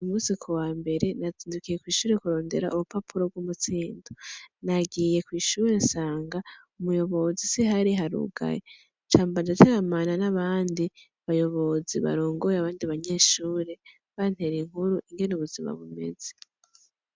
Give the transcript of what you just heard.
Uyu musi kuwambere nazindukiye kwishure kurondera urupapuro rw'umutsindo .Nagiye kwi shure nsanga umuyobozi siho ari harugaye nca mba ndateramana n'abandi bayobozi barongoye abandi banyeshure ,bantera inkuru ingene ubuzima bumeze.